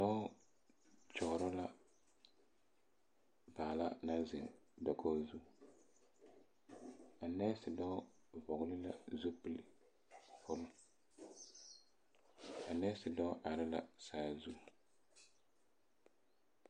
Dɔɔ kyɔgerɔ la Baala naŋ zeŋ dakoo zu a nɛɛse dɔɔ vɔgele la zupile kpoŋ a nɛɛse dɔɔ are la saazu